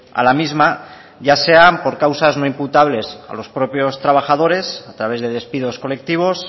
a la misma ya sean por causas no imputables a los propios trabajadores a través de despidos colectivos